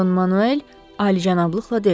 Don Manuel alicənablıqla dedi.